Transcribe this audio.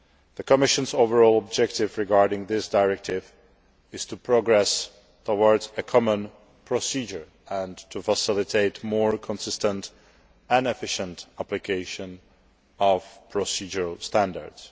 The Commission's overall objective regarding this directive is to progress towards a common procedure and to facilitate more consistent and efficient application of procedural standards.